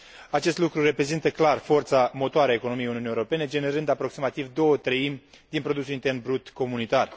Acest lucru reprezintă clar forța motoare a economiei Uniunii Europene, generând aproximativ două treimi din produsul intern brut comunitar.